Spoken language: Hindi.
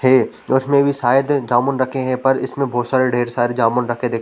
हैं इसमें भी शायद जामुन रखे हैं पर इसमें बहुत सारे ढेर सारे जामुन रखे देखे --